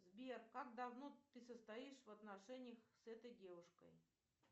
сбер как давно ты состоишь в отношениях с этой девушкой